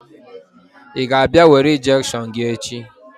Ị ga-abịa were injection gị echi?